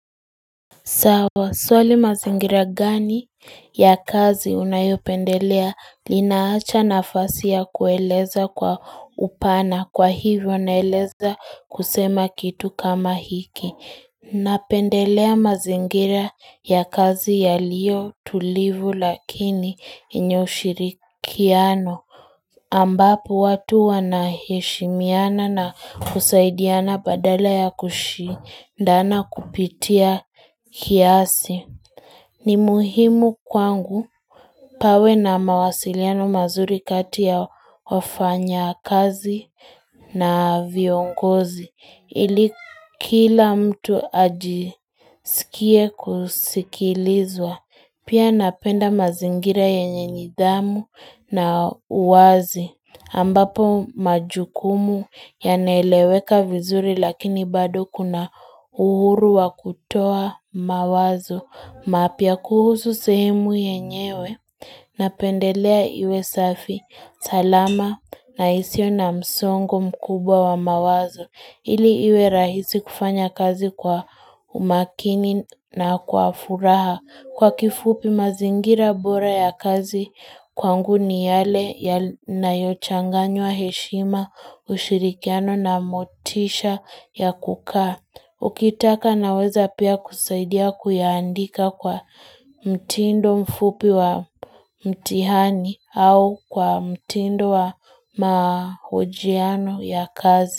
Sawa swali mazingira gani ya kazi unayopendelea linaacha nafasi ya kueleza kwa upana kwa hivyo naeleza kusema kitu kama hiki Napendelea mazingira ya kazi yaliyo tulivu lakini yenye ushirikiano ambapo watu wanaheshimiana na kusaidiana badala ya kushindana kupitia kiasi. Ni muhimu kwangu pawe na mawasiliano mazuri kati ya wafanyakazi na viongozi. Ili kila mtu ajisikie kusikilizwa. Pia napenda mazingira yenye nidhamu na uwazi. Ambapo majukumu yanaeleweka vizuri lakini bado kuna uhuru wa kutoa mawazo mapya kuhusu sehemu yenyewe napendelea iwe safi salama na isiyo na msongo mkubwa wa mawazo. Ili iwe rahisi kufanya kazi kwa umakini na kwa furaha kwa kifupi mazingira bora ya kazi kwangu ni yale yanayochanganywa heshima ushirikiano na motisha ya kukaa. Ukitaka naweza pia kusaidia kuyaandika kwa mtindo mfupi wa mtihani au kwa mtindo wa mahojiano ya kazi.